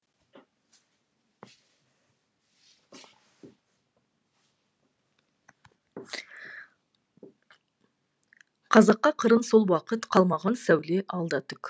қазаққа қырын сол уақыт қалмаған сәуле алда түк